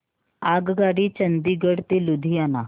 आगगाडी चंदिगड ते लुधियाना